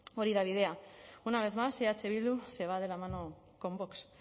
hori da bidea una vez más eh bildu se va de la mano con vox